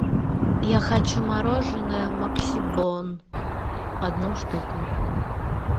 я хочу мороженое максибон одну штуку